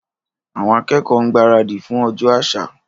Àwọn akẹ́kọ̀ọ́ ń gbaradì fún ọjọ́ àṣà.